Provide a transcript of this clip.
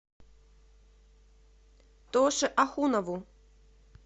тоше ахунову